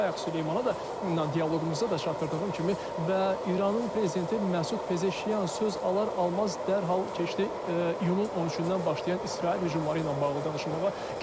Bayaq Süleymana da dialoqumuzda da çatdırdığım kimi və İranın prezidenti Məsud Pezeşian söz alar-almaz dərhal keçdi iyunun 13-dən başlayan İsrail hücumları ilə bağlı danışmağa.